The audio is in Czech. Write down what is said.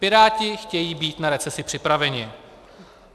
Piráti chtějí být na recesi připraveni.